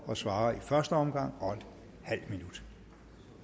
og svarer i første omgang og en halv minut